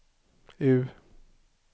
U